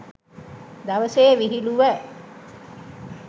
දවසේ විහිළුව